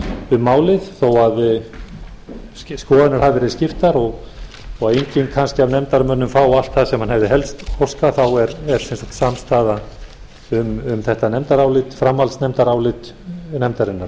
um málið þó skoðanir hafi verið skiptar og enginn kannski af nefndarmönnum fái allt það sem hann hefði helst óskað þá er sem sagt samstaða um þetta nefndarálit framhaldsnefndarálit nefndarinnar